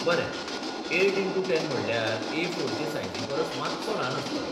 बरें, eight into ten म्हटल्यार A फोरचे सायजी परस मात्सो ल्हान आसतलो.